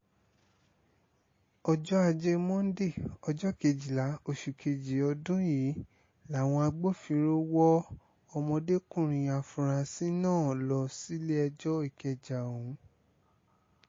ọjọ́ ajé monde ọjọ́ kejìlá oṣù kejì ọdún yìí làwọn agbófinró wọ ọmọdékùnrin afurasí náà lọ sílé-ẹjọ́ ìkẹjà ọ̀hún